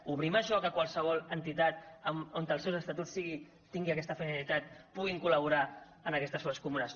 obrim això a què qualsevol entitat on els seus estatuts tinguin aquesta finalitat pugui col·laborar en aquestes fosses comunes